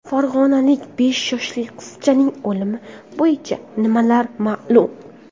Farg‘onalik besh yoshli qizchaning o‘limi bo‘yicha nimalar ma’lum?.